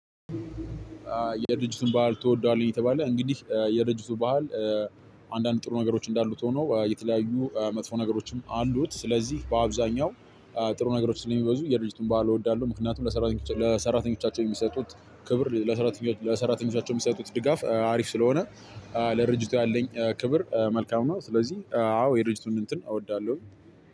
የድርጅቱን ባህል ትወደዋለህ? የተባለ እንግዲህ የድርጅቱ ባህል አንዳንድ ጥሩ ነገሮች እንዳሉት ሆኖ የተለያዩ መጥፎ ነገሮችም አሉት። ስለዚህ በአብዛኛው ጥሩ ነገሮች ስለሚበዙ የድርጅቱን ባህል እወዳሉ። ምክንያቱም ለሰራተኞቻቸው ለሰራተኞቻቸው የሚሰጡት ክብር ለሰራተኞቻቸው የሚሰጡት ድጋፍ አሪፍ ስለሆነ። ለድርጅቱ ያለኝ ክብር መልካም ነው። ስለዚህ አዎ የድርጅቱን እንትን እወዳለሁ።